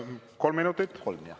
Kolm minutit?